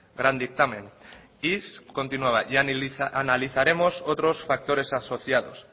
gran dictamen y continuaba y analizaremos otros factores asociados